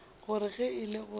gore ge e le gore